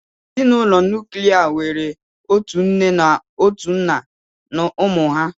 Ezinụlọ nuklia nwere otu nne na otu nna na ụmụ ha